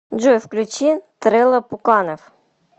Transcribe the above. джой включи трэлла пуканов